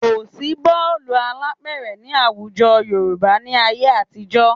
Kò sí bọ́ọ̀lù alápẹ̀rẹ̀ ní àwùjọ Yorùbá ní ayé àtijọ́